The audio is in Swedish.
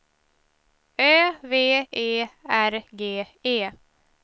Ö V E R G E